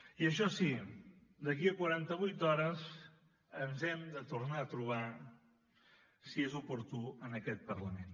i això sí d’aquí a quaranta vuit hores ens hem de tornar a trobar si és oportú en aquest parlament